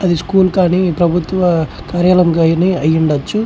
అది స్కూల్ కానీ ప్రభుత్వ కార్యాలయం కానీ అయుండొచ్చు.